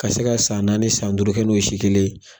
Ka se ka san naani san duuru kɛ n'o ye si kelen.